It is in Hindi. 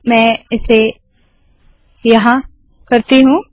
मैं इसे यहाँ करती हूँ